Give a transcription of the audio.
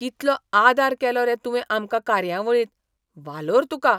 कितलो आदार केलो रे तुवें आमकां कार्यावळींत, वालोर तुका!